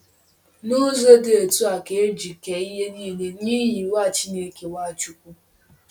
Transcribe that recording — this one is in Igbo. N’ụzọ dị otú a ka e ji kee ihe niile “n’ihi” Nwa Chineke, Nwáchukwu?